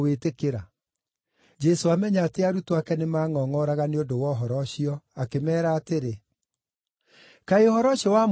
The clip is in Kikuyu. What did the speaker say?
Jesũ amenya atĩ arutwo ake nĩmangʼongʼoraga nĩ ũndũ wa ũhoro ũcio akĩmeera atĩrĩ, “Kaĩ ũhoro ũcio wamũrakaria?